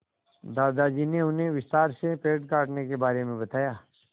दादाजी ने उन्हें विस्तार से पेड़ काटने के बारे में बताया